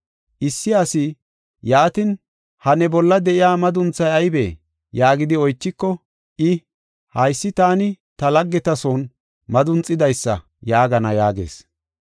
Issi asi, ‘Yaatin, ha ne bolla de7iya madunthay aybee?’ yaagidi oychiko, i, ‘Haysi taani ta laggeta son madunxidaysa’ yaagana” yaagees.